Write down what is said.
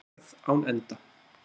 Ferð án enda.